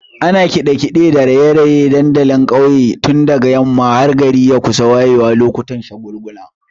Ana kiɗe-kiɗe da raye-raye a dandalin ƙauye tun daga yamma har gari ya kusa wayewa lokutan shagulgula.